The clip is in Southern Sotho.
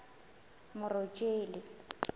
morojele